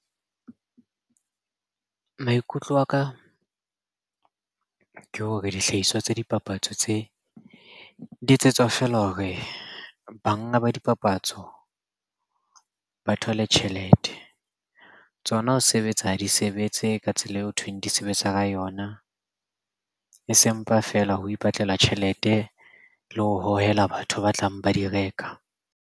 Maikutlo a ka ke hore dihlahiswa tsa dipapatso tse, di etsetswa feela hore banga ba dipapatso ba thole tjhelete. Tsona ho sebetsa ha di sebetse ka tsela eo hothweng di sebetsa ka yona. E se mpa feela ho ipatlela tjhelete le ho hohela batho ba tlang ba di reka.